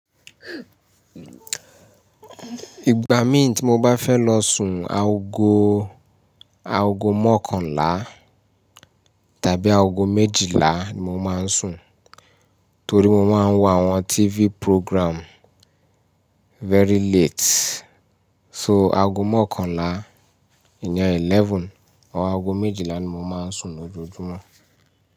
Ìgbà mí ti mo bá fẹ́ lọ sùn, aago, aago mọ́kànlá tàbí aago méjilá ni mo máa ń sùn, torí mo máa ń wo àwọn TV program very late. So aago mọ́kànlá, ìyàn 11 or aago méjilá ni mo máa ń sùn lójoojúmọ́.